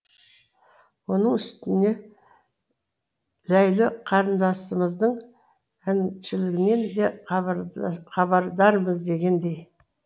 оның үстіне ләйлі қарындасымыздың әншілігінен де хабардармыз дегендей